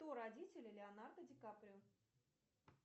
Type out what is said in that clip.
кто родители леонардо ди каприо